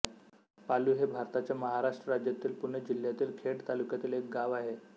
पालु हे भारताच्या महाराष्ट्र राज्यातील पुणे जिल्ह्यातील खेड तालुक्यातील एक गाव आहे